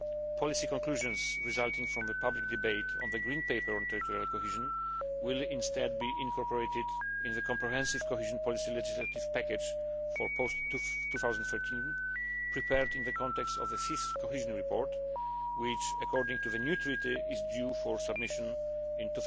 Policy conclusions resulting from the public debate on the Green Paper on Territorial Cohesion will instead be incorporated in the comprehensive cohesion policy legislative package for post 2013 prepared in the context of the Fifth Cohesion Report which, according to the new treaty, is due for submission